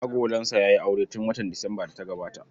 Agolansa ya yi aure tun watan Disambar da ta gabata.